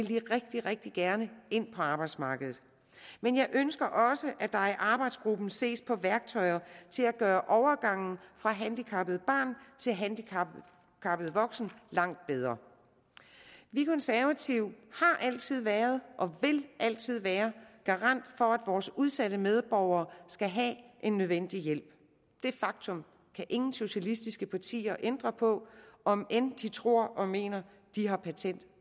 de rigtig rigtig gerne ind på arbejdsmarkedet men jeg ønsker også at der i arbejdsgruppen ses på værktøjer til at gøre overgangen fra handicappet barn til handicappet voksen langt bedre vi konservative har altid været og vil altid være garant for at vores udsatte medborgere skal have en nødvendig hjælp det faktum kan ingen socialistiske partier ændre på om end de tror og mener at de har patent